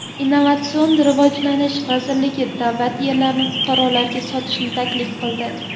Innovatsion rivojlanish vazirligi davlat yerlarini fuqarolarga sotishni taklif qildi.